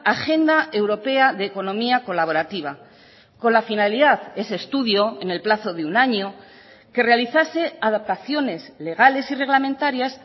agenda europea de economía colaborativa con la finalidad ese estudio en el plazo de un año que realizase adaptaciones legales y reglamentarias